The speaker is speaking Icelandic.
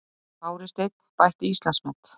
Kári Steinn bætti Íslandsmet